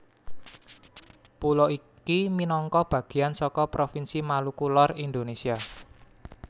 Pulo iki minangka bagéan saka provinsi Maluku Lor Indonésia